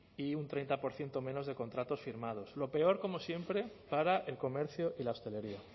y un treinta por ciento menos de contratos firmados lo peor como siempre para el comercio y la hostelería